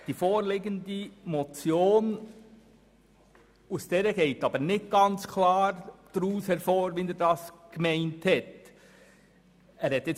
Aus der vorliegenden Motion geht jedoch nicht klar hervor, wie er sie gemeint hat.